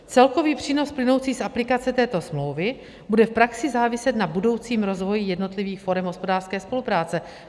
Celkový přínos plynoucí z aplikace této smlouvy bude v praxi záviset na budoucím rozvoji jednotlivých forem hospodářské spolupráce.